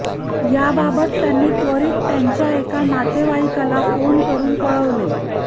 याबाबत त्यांनी त्वरीत त्यांच्या एका नातेवाईकाला फोन करून कळवले